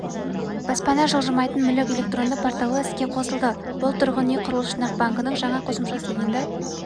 баспана жылжымайтын мүлік электронды порталы іске қосылды бұл тұрғын үй құрылыс жинақ банкінің жаңа қосымшасы енді